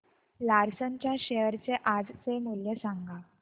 Larsen च्या share चे आजचे मूल्य सांगा